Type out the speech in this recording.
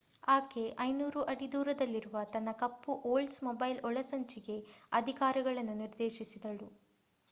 ಆಕೆ 500 ಅಡಿ ದೂರದಲ್ಲಿರುವ ತನ್ನ ಕಪ್ಪು ಓಲ್ಡ್ಸ್‌ಮೊಬೈಲ್ ಒಳಸಂಚಿಗೆ ಅಧಿಕಾರಿಗಳನ್ನು ನಿರ್ದೇಶಿಸಿದಳು